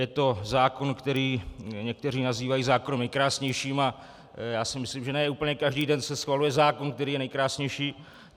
Je to zákon, který někteří nazývají zákonem nejkrásnějším, a já si myslím, že ne úplně každý den se schvaluje zákon, který je nejkrásnější.